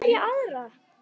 Hverja aðra?